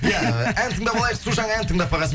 иә ән тыңдап алайық су жаңа ән тыңдап бағасын